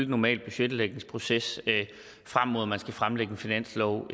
normale budgetlægningsproces frem mod at man skal fremlægge en finanslov